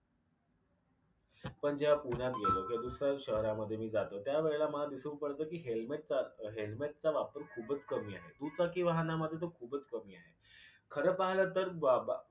आपण जेव्हा पुण्यात गेलो किंवा दुसऱ्या शहारामध्ये मी जातो त्यावेळेला मला दिसूक पडत की helmet चा वापर खूपच कमी आहे. दुचाकी वाहनामध्ये तर खूपच कमी आहे खर पाहिला तर ब ब